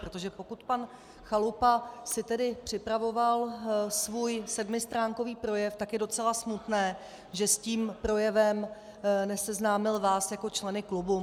Protože pokud pan Chalupa si tedy připravoval svůj sedmistránkový projev, tak je docela smutné, že s tím projevem neseznámil vás jako členy klubu.